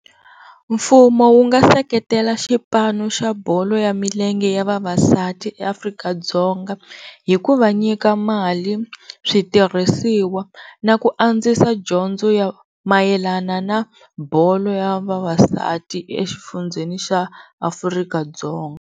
Mfumo wu nga seketela xipano xa bolo ya milenge ya vavasati eAfrika-Dzonga hi ku va nyika mali, switirhisiwa na ku andzisa dyondzo ya mayelana na bolo ya vavasati exifundzheni xa Afrika-Dzonga.